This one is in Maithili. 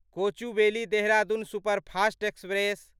Kochuveli Dehradun superfast express